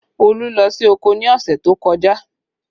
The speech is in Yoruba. Olú lọ sí oko ní ọ̀sẹ̀ tó kọjá